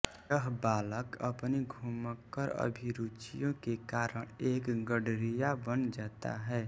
यह बालक अपनी घुमक्कर अभिरुचियों के कारण एक गडरिया बन जाता है